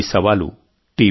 ఈ సవాలు టి